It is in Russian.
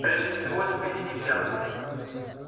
прежде всего спиди не пьян